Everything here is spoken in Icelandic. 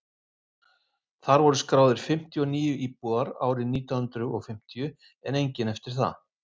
þar voru skráðir fimmtíu og níu íbúar árið nítján hundrað fimmtíu en enginn eftir það